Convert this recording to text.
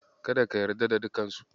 Kada ka yarda da dukansu.